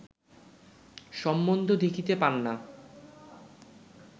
সম্বন্ধ দেখিতে পান না